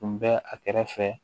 Tun bɛ a kɛrɛfɛ